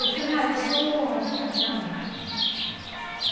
Eu falei, ah, eu sou a filha dela.